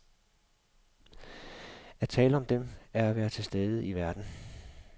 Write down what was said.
At tale om dem er at være til stede i verden.